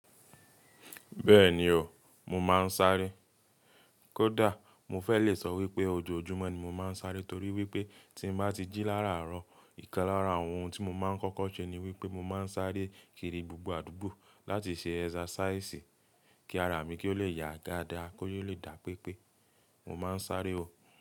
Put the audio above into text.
Bẹ́ẹ̀ni o, mo máa ń sáré. Kódà mo fẹ́ le sọ wípé ojoojúmọ́ ni mo máa ń sáré torí wípé tí mo bá ti jí lára àárọ̀, ìkan lára àwọn ohun tí mo máa ń kọ́kọ́ ṣe ni wípé mo máa ń sáré kiri gbogbo àdúgbò láti ṣe exercise kí ara mi kí ó le ya ga dáa, kó yóò lè dà pépé. Mo máa ń sáré o.